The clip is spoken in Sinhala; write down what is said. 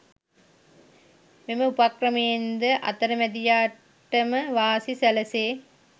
මෙම උපක්‍රමයෙන් ද අතරමැදියාට ම වාසි සැලසේ.